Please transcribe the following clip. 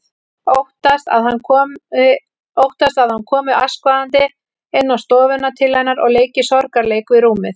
Óttast að hann komi askvaðandi inn á stofuna til hennar og leiki sorgarleik við rúmið.